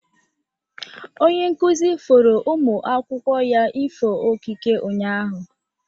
Onye nkụzi foro ụmụ akwụkwọ ya ifo okike unyaahụ.